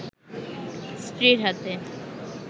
স্ত্রীর হাতে